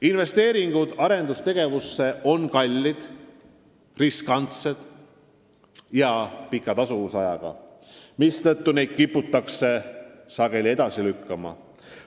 Investeeringud arendustegevusse on kallid, riskantsed ja pika tasuvusajaga, mistõttu neid kiputakse sageli edasi lükkama.